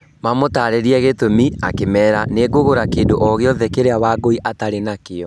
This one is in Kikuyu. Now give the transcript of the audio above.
Mamũtaarĩiria gĩtũmi, akĩmeera, "Nĩ ngũgũra kĩndũ o gĩothe kĩrĩa Wangũi atarĩ nakĩo."